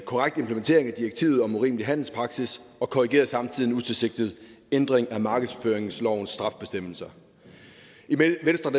korrekt implementering af direktivet om urimelig handelspraksis og korrigerer samtidig en utilsigtet ændring af markedsføringslovens strafbestemmelser